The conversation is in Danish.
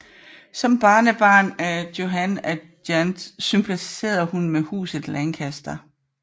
Som barnebarn af Johan af Gent sympatiserede hun med Huset Lancaster